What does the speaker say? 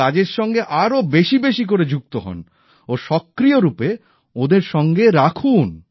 এই কাজের সঙ্গে আরো বেশি বেশি করে যুক্ত হন ও সক্রিয় রূপে ওঁদের সঙ্গে রাখুন